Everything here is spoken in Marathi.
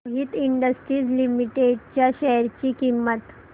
मोहित इंडस्ट्रीज लिमिटेड च्या शेअर ची किंमत